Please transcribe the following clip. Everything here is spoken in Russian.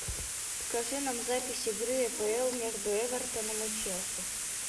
покажи нам запись игры апл между эвертоном и челси